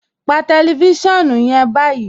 Pà tẹlifisiọnu yẹn ni báyì.